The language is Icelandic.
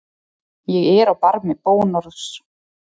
Ég er á barmi bónorðs.